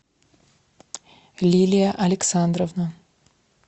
лилия александровна